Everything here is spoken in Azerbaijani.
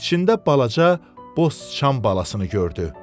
içində balaca boş sıçan balasını gördü.